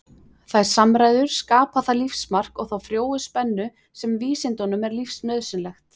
Þær samræður skapa það lífsmark og þá frjóu spennu sem vísindunum er lífsnauðsynleg.